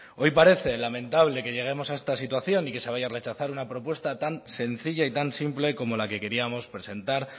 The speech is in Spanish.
hoy parece lamentable que lleguemos a esta situación y que se vaya a rechazar una propuesta tan sencilla y tan simple como la que queríamos presentar